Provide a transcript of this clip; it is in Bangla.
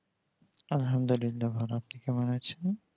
আলহামদুল্লিলা ভালো আপনি কেমন আছেন